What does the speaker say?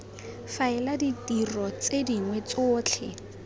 faela ditiro tse dingwe tsotlhe